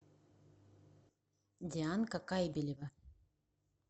дианка кайбелева